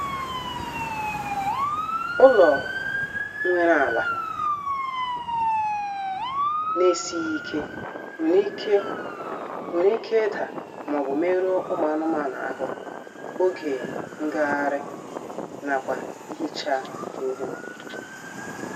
Ụlọ nwere ala na-esịghị ike nwere ike nwere ike ida maọbụ merụọ ụmụ anụmanụ ahụ oge ngagharị nakwa ihicha ihe